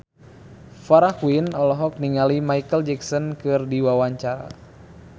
Farah Quinn olohok ningali Micheal Jackson keur diwawancara